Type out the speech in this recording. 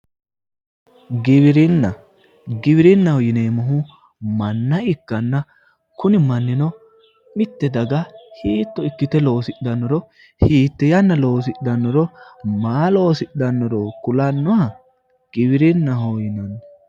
Giwirinna, giwirinnaho yinneemmohu manna ikkanna kuni mannino mite daga hiitto ikkite loosidhanoro yiite yanna loosidhanoro maa loosidhanoro kulanoha giwirinnaho yinnanni